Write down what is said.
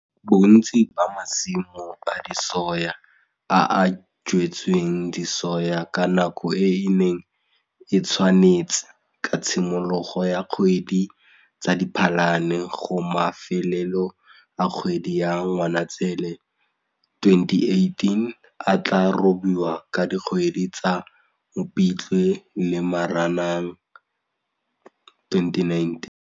Bontsi ba masimo a disoya a a jwetsweng disoya ka nako e e neng e tshwanetse ka tshimologo ya kgwedi tsa Diphalane go mafelelo a kgwedi ya Ngwanatsele 2018 a tlaa robiwa ka dikgwedi tsa Mopitlwe le Moranang 2019.